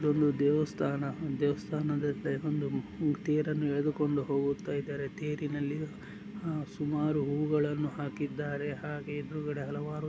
ಇದೊಂದು ದೇವಸ್ತಾನ ದೇವಸ್ತಾನ ಅಂದರೆ ತೇರನ್ನು ಎಳೆದುಕೊಂಡು ಹೋಗುತ್ತಾ ಇದ್ದಾರೆ ತೇರಿನಲ್ಲಿ ಸುಮಾರು ಹೂಗಳ್ಳನ್ನು ಹಾಕ್ಕಿದ್ದಾರೆ ಹಾಗೆ ಎದುರುಗಡೆ ಹಲವಾರು --